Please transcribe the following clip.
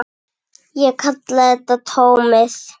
Hann er búinn að reyn